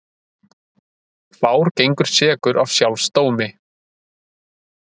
Fár gengur sekur af sjálfs dómi.